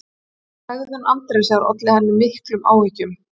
Hegðun Andrésar olli henni miklum áhyggjum: